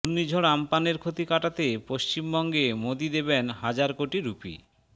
ঘূর্ণিঝড় আম্পানের ক্ষতি কাটাতে পশ্চিমবঙ্গে মোদি দেবেন হাজার কোটি রুপি